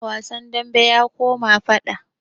Wasan dambe ya koma faɗa